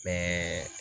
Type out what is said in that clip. Bɛɛ